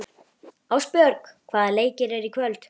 Ástbjörg, hvaða leikir eru í kvöld?